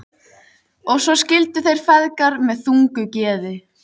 Og svo skildu þeir feðgar með þungu geði.